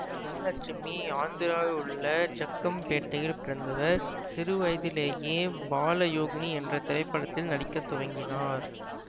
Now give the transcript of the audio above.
வரலட்சுமி ஆந்திராவில் உள்ள ஜக்கம்பேட்டையில் பிறந்தவர் சிறுவயதிலிலேயே பாலயோகினி என்ற திரைப்படத்தில் நடிக்க துவங்கினார்